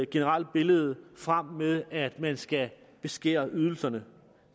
generelle billede frem med at man skal beskære ydelserne